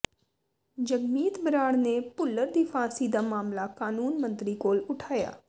ਜਗਮੀਤ ਬਰਾੜ ਨੇ ਭੁੱਲਰ ਦੀ ਫਾਂਸੀ ਦਾ ਮਾਮਲਾ ਕਾਨੂੰਨ ਮੰਤਰੀ ਕੋਲ ਉਠਾਇਆ